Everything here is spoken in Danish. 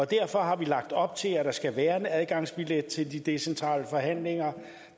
derfor har vi lagt op til at der skal være en adgangsbillet til de decentrale forhandlinger